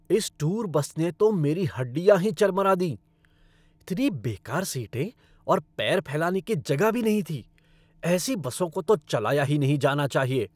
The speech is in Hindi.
इस टूर बस ने तो मेरी हड्डियाँ ही चरमरा दीं। इतनी बेकार सीटें और पैर फैलाने की जगह भी नहीं थी। ऐसी बसों को तो चलाया ही नहीं जाना चाहिए।